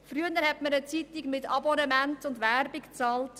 Früher hat man eine Zeitung mit Abonnementen und Werbung bezahlt.